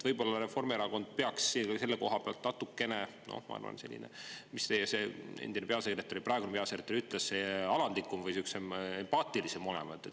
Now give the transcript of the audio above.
Võib-olla Reformierakond peaks selle koha pealt natukene – noh, ma arvan selline, nagu teie endine peasekretär ütles – alandlikum või empaatilisem olema.